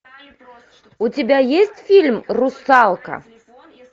у тебя есть фильм русалка